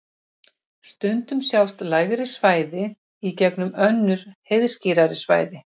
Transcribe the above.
Stundum sjást lægri svæði í gegnum önnur heiðskírari svæði.